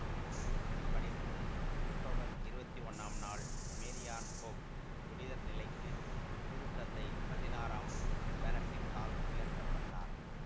இரண்டாயிரத்தி பனிரெண்டு அக்டோபர் இரவத்தி ஒன்னாம் நாள் மேரியான் கோப் புனிதர் நிலைக்கு திருத்தந்தை பதினாறாம் பெனடிக்டால் உயர்த்த பட்டார்